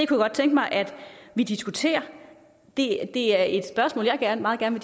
godt tænke mig at vi diskuterer det er det er et spørgsmål jeg meget gerne